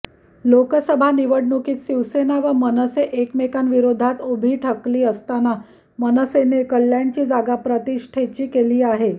लोकसभा निवडणुकीत शिवसेना व मनसे एकमेकांविरोधात उभी ठाकली असताना मनसेने कल्याणची जागा प्रतिष्ठेची केली आहे